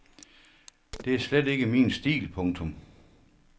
Det er slet ikke min stil. punktum